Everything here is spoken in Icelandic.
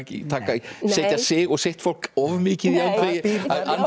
setja sig og sitt fólk of mikið í öndvegi